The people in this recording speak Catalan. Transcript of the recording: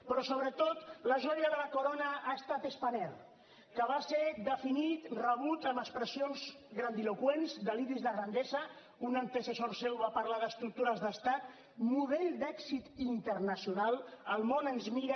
però sobretot la joia de la corona ha estat spanair que va ser definit rebut amb expressions grandiloqüents deliris de grandesa un antecessor seu va parlar d’ estructures d’estat model d’èxit internacional el món ens mira